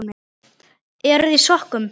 Eruði í sokkum?